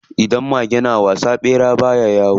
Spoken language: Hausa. Idan mage na wasa, ɓera baya yawo.